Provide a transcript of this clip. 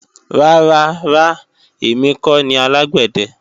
Rárá ra, èmi kọ́ ni alágbẹ̀dẹ